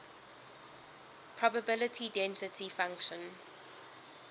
probability density function